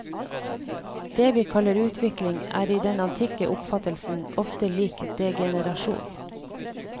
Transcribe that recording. Det vi kaller utvikling, er i den antikke oppfattelsen ofte lik degenerasjon.